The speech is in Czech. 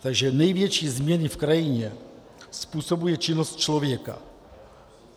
Takže největší změny v krajině způsobuje činnost člověka.